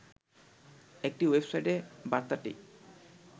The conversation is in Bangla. একটি ওয়েবসাইটে বার্তাটি